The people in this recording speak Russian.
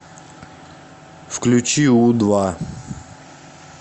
включи у два